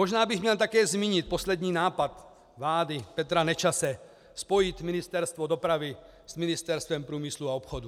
Možná bych měl také zmínit poslední nápad vlády Petra Nečase spojit Ministerstvo dopravy s Ministerstvem průmyslu a obchodu.